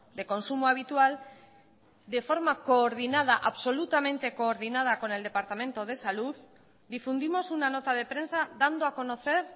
de consumo habitual de forma coordinada absolutamente coordinada con el departamento de salud difundimos una nota de prensa dando a conocer